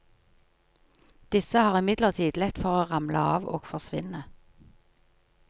Disse har imidlertid lett for å ramle av og forsvinne.